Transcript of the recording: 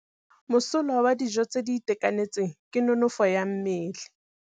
Mosola wa dijô tse di itekanetseng ke nonôfô ya mmele.